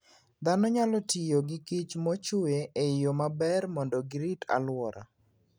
Dhano nyalo tiyo gi kich mochwe e yo maber mondo girit alwora.